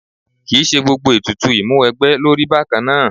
Kì í ṣe gbogbo ètùtù ìmúwẹgbẹ́ ló rí bákan náà.